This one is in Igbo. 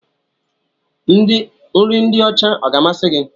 Nri ndị ọcha ọ ga-amasị gị?